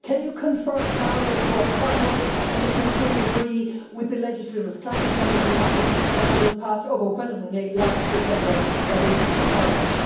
Can you confirm now that you are converts and that you fully agree with the legislative climate and energy package that was passed overwhelmingly last December by this Parliament?